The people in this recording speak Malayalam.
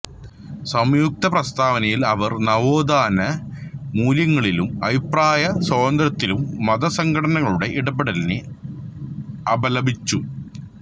സംയുക്ത പ്രസ്താവനയിൽ അവർ നവോത്ഥാന മൂല്യങ്ങളിലും അഭിപ്രായ സ്വാതന്ത്ര്യത്തിലും മതസംഘടനകളുടെ ഇടപെടലിനെ അപലപിച്ചു